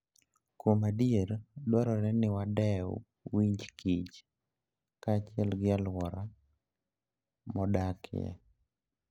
Kuom adier, dwarore ni wadew winj kich kaachiel gi alwora modakie.